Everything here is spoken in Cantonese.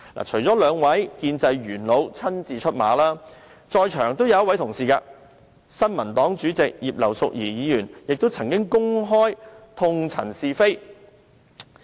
除了兩位建制派元老親自出馬，在座的新民黨主席葉劉淑儀議員亦曾經公開痛陳是非。